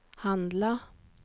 handla